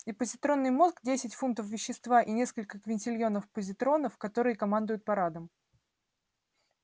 и позитронный мозг десять фунтов вещества и несколько квинтильонов позитронов которые командуют парадом